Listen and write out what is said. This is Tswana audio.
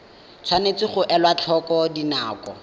tshwanetse ga elwa tlhoko dinako